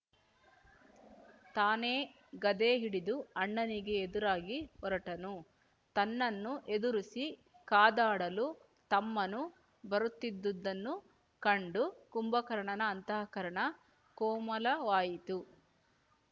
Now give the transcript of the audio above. ತಾನೇ ಗದೆ ಹಿಡಿದು ಅಣ್ಣನಿಗೆ ಎದುರಾಗಿ ಹೊರಟನು ತನ್ನನ್ನು ಎದುರಿಸಿ ಕಾದಾಡಲು ತಮ್ಮನು ಬರುತ್ತಿದ್ದುದನ್ನು ಕಂಡು ಕುಂಭಕರ್ಣನ ಅಂತಃಕರಣ ಕೋಮಲವಾಯಿತು